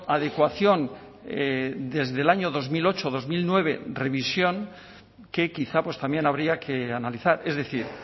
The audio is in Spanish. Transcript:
adecuación desde el año dos mil ocho dos mil nueve revisión que quizá pues también habría que analizar es decir